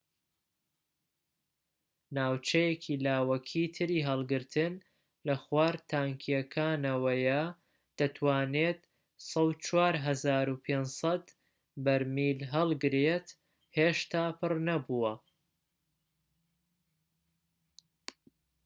ناوچەیەکی لاوەکیی تری هەڵگرتن لە خوار تانکیەکانەوەیە دەتوانێت ١٠٤٥٠٠ بەرمیل هەڵگرێت هێشتا پڕ نەبووە